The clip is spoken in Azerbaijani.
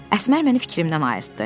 Əsmər məni fikrimdən ayırtdı.